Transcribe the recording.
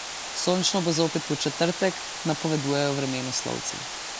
Sončno bo zopet v četrtek, napovedujejo vremenoslovci.